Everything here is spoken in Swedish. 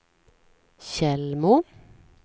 Tjällmo